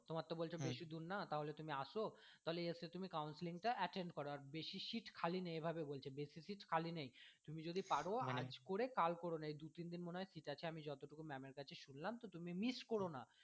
তোমার তো বলছো বেশি দূর না তাহলে তুমি আসো তাহলে এসে তুমি counselling টা attend করো বেশি seat খালি নেই এভাবে বলছে বেশি seat খালি নেই তুমি যদি পারো আজ করে কাল কোরো না এই দু তিন দিন মনে হয় আমিই যতদূর ma'am এর কাছে শুনলাম তুমি miss কোরো না।